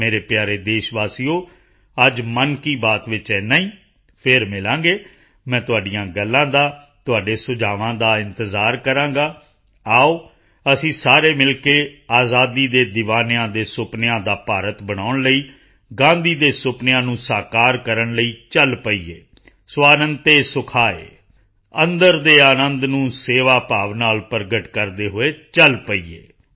ਮੇਰੇ ਪਿਆਰੇ ਦੇਸ਼ਵਾਸੀਓ ਅੱਜ ਮਨ ਕੀ ਬਾਤ ਵਿੱਚ ਐਨਾ ਹੀ ਫਿਰ ਮਿਲਾਂਗੇ ਮੈਂ ਤੁਹਾਡੀਆਂ ਗੱਲਾਂ ਦਾ ਤੁਹਾਡੇ ਸੁਝਾਵਾਂ ਦਾ ਇੰਤਜ਼ਾਰ ਕਰਾਂਗਾ ਆਓ ਅਸੀਂ ਸਾਰੇ ਮਿਲ ਕੇ ਆਜ਼ਾਦੀ ਦੇ ਦੀਵਾਨਿਆਂ ਦੇ ਸੁਪਨਿਆਂ ਦਾ ਭਾਰਤ ਬਣਾਉਣ ਲਈ ਗਾਂਧੀ ਦੇ ਸੁਪਨਿਆਂ ਨੂੰ ਸਾਕਾਰ ਕਰਨ ਲਈ ਚਲ ਪਈਏ ਸਵਾਂਤ ਸੁਖਾਯ ਅੰਦਰ ਦੇ ਅਨੰਦ ਨੂੰ ਸੇਵਾ ਭਾਵ ਨਾਲ ਪ੍ਰਗਟ ਕਰਦੇ ਹੋਏ ਚਲ ਪਈਏ